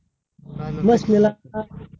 बसलेला